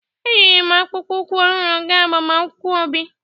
Eyiri m akpụkpọ ụkwụ ọhụrụ gaa agbamakwụkwọ Obi.